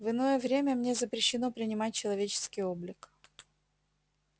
в иное время мне запрещено принимать человеческий облик